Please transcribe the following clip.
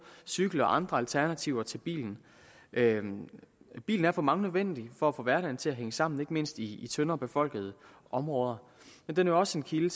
cykel og andre alternativer til bilen bilen er for mange nødvendig for at få hverdagen til at hænge sammen ikke mindst i tyndt befolkede områder men den er også en kilde